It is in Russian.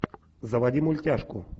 заводи мультяшку